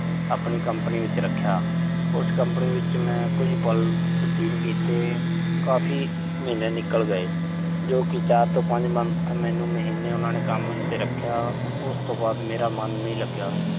ਆਪਣੀ ਕੰਪਨੀ ਵਿੱਚ ਰੱਖਿਆ। ਉਸ ਕੰਪਨੀ ਵਿੱਚ ਮੈਂ ਕੁਝ ਪਲ ਬਤੀਤ ਕੀਤੇ। ਕਾਫ਼ੀ ਮਹੀਨੇ ਨਿਕਲ ਗਏ। ਜੋ ਕਿ ਚਾਰ ਤੋਂ ਪੰਜ month ਮਹੀਨੇ ਮੈਨੂੰ ਉਨ੍ਹਾਂ ਨੇ ਕੰਮ ਤੇ ਰੱਖਿਆ। ਉਸ ਤੋਂ ਬਾਅਦ ਮੇਰਾ ਮਨ ਨਹੀਂ ਲੱਗਿਆ।